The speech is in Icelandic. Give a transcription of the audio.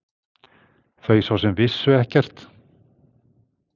Þau svo sem vissu ekkert.